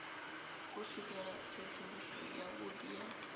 u swikela tsedzuluso yavhudi ya